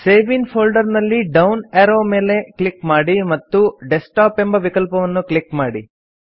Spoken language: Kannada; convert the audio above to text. ಸೇವ್ ಇನ್ ಫೋಲ್ಡರ್ ನಲ್ಲಿ ಡೌನ್ ಏರೋ ಮೇಲೆ ಕ್ಲಿಕ್ ಮಾಡಿ ಮತ್ತು ಡೆಸ್ಕ್ಟಾಪ್ ಎಂಬ ವಿಕಲ್ಪವನ್ನು ಕ್ಲಿಕ್ ಮಾಡಿ